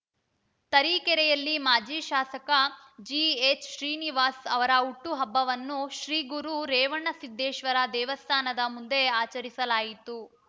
ತರೀಕೆರೆಯಲ್ಲಿ ಮಾಜಿ ಶಾಸಕ ಜಿಎಚ್‌ ಶ್ರೀನಿವಾಸ್‌ ಅವರ ಹುಟ್ಟುಹಬ್ಬವನ್ನು ಶ್ರೀ ಗುರು ರೇವಣಸಿದ್ದೇಶ್ವರ ದೇವಸ್ಥಾನದ ಮುಂದೆ ಆಚರಿಸಲಾಯಿತು